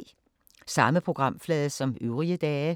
Samme programflade som øvrige dage